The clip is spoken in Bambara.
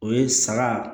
O ye saga